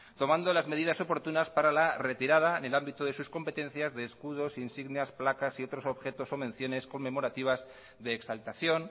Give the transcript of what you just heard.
tomando las medidas oportunas para la retirada en el ámbito de sus competencias de escudos insignias placas y otros objetos o menciones conmemorativas de exaltación